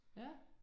Ja